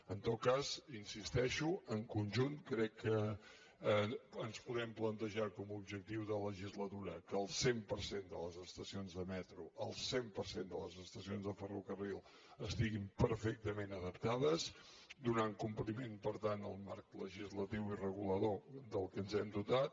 en tot cas hi insisteixo en conjunt crec que ens podem plantejar com a objectiu de legislatura que el cent per cent de les estacions de metro el cent per cent de les estacions de ferrocarril estiguin perfectament adaptades donant compliment per tant al marc legislatiu i regulador de què ens hem dotat